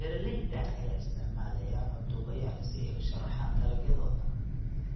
Beeralayda ayaa isticmaalaya cod duubayaal si ay u sharaxaan dalagyadooda.